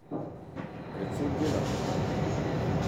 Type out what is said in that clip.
Predvsem delavno.